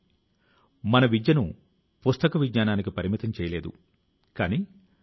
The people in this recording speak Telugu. ఈ డ్రోన్ శో ను లఖ్ నవూ లోని రెసిడెన్సీ ప్రాంతం లో నిర్వహించడం జరిగింది